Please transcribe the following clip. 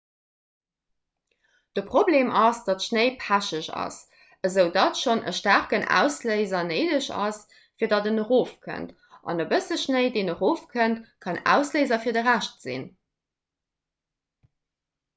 de problem ass datt schnéi pecheg ass esoudatt schonn e staarken ausléiser néideg ass fir datt en erof kënnt an e bësse schnéi deen erofkënnt kann ausléiser fir de rescht sinn